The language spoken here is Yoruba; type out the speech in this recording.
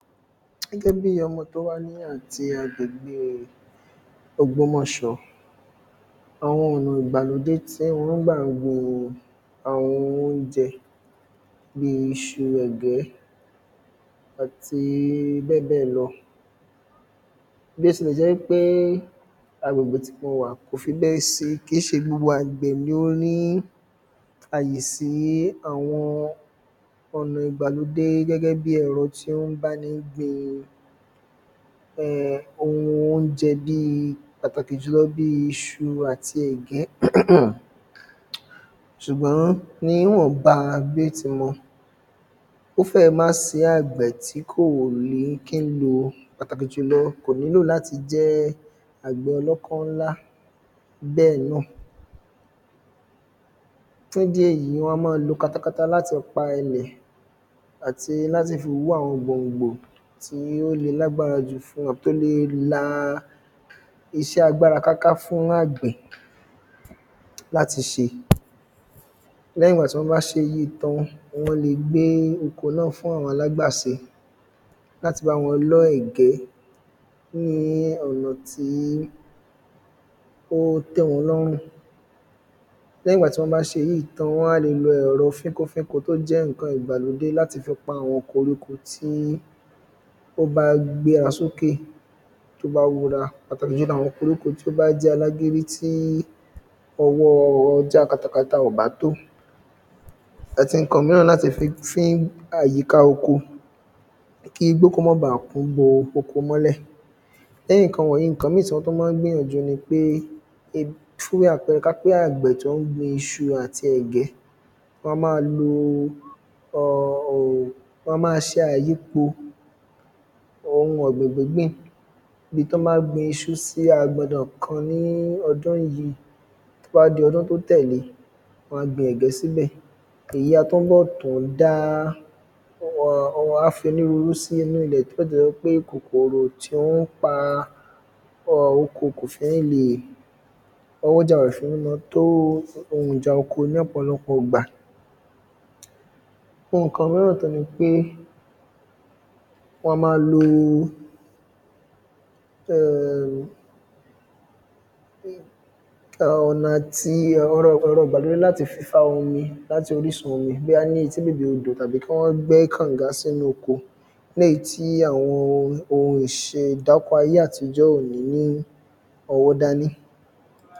Gẹ́gẹ́ bí ọmọ tó wá ní àti agbègbè e ògbómọ̀ṣọ́ àwọn ọ̀nà ìgbàlódé tí wọ́n ń gbà gbin àwọn oúnjẹ bíi iṣu, ẹ̀gẹ́, àti bẹ́ẹ̀ bẹ́ẹ̀ lọ. bí ó tilẹ̀ jẹ́ wí pé agbègbè tí mo wà kò fi bẹ́ẹ̀ sí kì í ṣe gbogbo àgbẹ̀ ni ó ní àyè sí àwọn ọ̀nà ìgbàlódé gẹ́gẹ́ bí ẹ̀rọ tí ó ń báni gbin um ohun óúnjẹ bíi pàtàkì jùlọ bí iṣu àti ẹ̀gẹ́ ṣùgbọ́n níwọ̀nba bí ó ti mọ ó fẹ́ẹ̀ má sí àgbẹ̀ tí kò ní kí ń lo pàtàkì jùlọ kò nílò láti jẹ́ àgbẹ̀ ọlọ́kọ́ ńlá bẹ́ẹ̀ náà. fún ìdí èyí wọ́n á mọ́ lo katakata láti pa ilẹ̀ àti láti fi hú àwọn gbòǹgbò tí ó le lágbára jù tí ó le la iṣẹ́ agbára káká fún àgbẹ̀ láti ṣe. Lẹ́yìn ìgbà tí wọ́n bá ṣèyìí tán wọ́n le gbé oko náà fún àwọn alágbàse láti bá wọn lọ́ ẹ̀gẹ́ ní ọ̀nà tí ó tẹ́ wọn lọ́rùn Lẹ́yìn ìgbà tí wọ́n bá ṣèyìí tán wọ́n wá le lo ẹ̀rọ fínko fínko tó jẹ́ nǹkan ìgbàlódé láti fi pa àwọn koríko tí ó bá gbéra sókè tó bá hura pàtàkì jùlọ àwọn koríko tí ó bá jẹ́ alágídí tí ọwọ́ já katakata ò bá tó àti nǹkan míràn láti fi fín àyíká oko kí igbó kó mọ́ ba kún bo oko mọ́lẹ̀. Lẹ́yìn nǹkan wọ̀nyìí nǹkan mí tí wọ́n tún má ń gbìyànjú ni pé um fún bí àpẹrẹ ká pé àgbẹ̀ tó ń gbin iṣu àti ẹ̀gẹ́ wọn a má lo um wọn a má ṣe àyípo ohun ọ̀gbìn gbíngbìn bí tọ́n bá gbin iṣu sí agbọndọn kan ní ọdún yìí tó bá di ọdún tó tẹ̀lé wọ́n á gbin ẹ̀gẹ́ síbẹ̀ èyí a tún bọ̀ tún dá um wọ́n á fi onírúurú sínú ilẹ̀ jẹ́ kòkòrò tí ó ń pa um oko kò fi ní leè ọwọ́jà rẹ̀ ò fi ni fi ní máa tó ohun ìjà oko ní ọ̀pọ̀lọpọ̀ ìgbà Nǹkan mìíràn tún ni pé wọn a máa lo um ọ̀nà tí ẹ̀rọ ìgbàlódé láti fi fa omi láti orísun omi bóyá ní etí bèbè odò tàbí kí wọ́n gbẹ́ kànga sínú oko ní èyí tí àwọn ohun ohun ìṣèdáko ayé àtijọ́ kò ní ní ōwó dání.